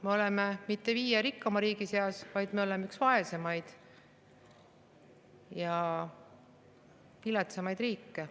Me oleme mitte viie rikkaima riigi seas, vaid me oleme üks kõige vaesemaid ja viletsamaid riike.